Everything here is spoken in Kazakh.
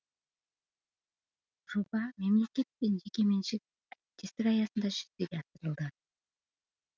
жоба мемлекет пен жекеменшік әріптестік аясында жүзеге асырылды